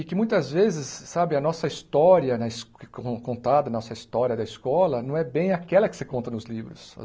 E que, muitas vezes, sabe a nossa história na es contada, a nossa história da escola, não é bem aquela que se conta nos livros.